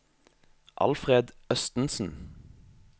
Alfred Østensen